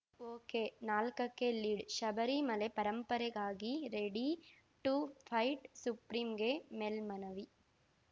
ಒಕೆನಾಲ್ಕಕ್ಕೆ ಲೀಡ್‌ಶಬರಿಮಲೆ ಪರಂಪರೆಗಾಗಿ ready to fight ಸುಪ್ರಿಂಗೆ ಮೇಲ್ಮನವಿ